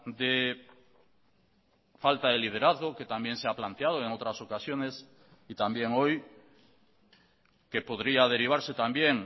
de falta de liderazgo que también se ha planteado en otras ocasiones y también hoy que podría derivarse también